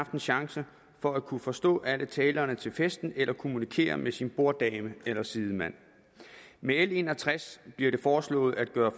få en chance for at kunne forstå alle talerne til festen eller kommunikere med sin borddame eller sidemand med l en og tres bliver det foreslået at gøre